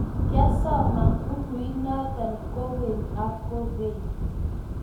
kiasoman bukuit noto kogeny ak kogeny.